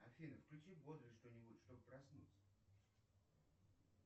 афина включи бодрое что нибудь чтоб проснуться